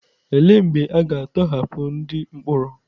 Olee mgbe a ga-atọhapụ ndị mkpọrọ?